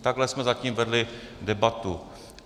Takhle jsme zatím vedli debatu.